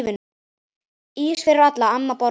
Ís fyrir alla, amma borgar